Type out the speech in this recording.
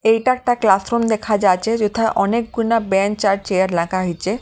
এইটা একটা ক্লাসরুম দেখা যাচ্ছে যথা অনেক গুনা বেঞ্চ আর চেয়ার লাখা হইছে ।